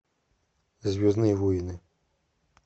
звездные войны